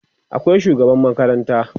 akwai shugaban makaranta